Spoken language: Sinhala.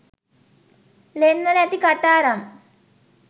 ලෙන්වල ඇති කටාරම්